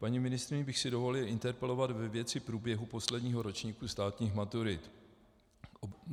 Paní ministryni bych si dovolil interpelovat ve věci průběhu posledního ročníku státních maturit.